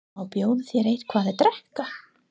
Má bjóða þér eitthvað að drekka?